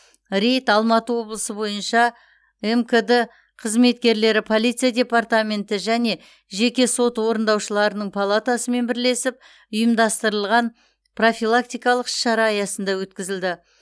рейд алматы облысы бойынша мкд қызметкерлері полиция департаменті және жеке сот орындаушыларының палатасымен бірлесіп ұйымдастырған профилактикалық іс шара аясында өткізілді